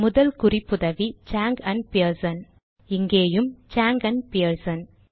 முதல் குறிப்புதவி Chang and Pearson இங்கேயும் சாங் ஆண்ட் பியர்சன்